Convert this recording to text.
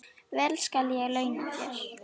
Vel skal ég launa þér.